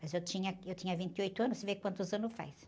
Mas eu tinha, eu tinha vinte e oito anos, você vê quantos anos faz.